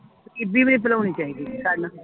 ਗ਼ਰੀਬੀ ਨੀ ਭੁਲਾਉਣੀ ਚਾਹੀਦੀ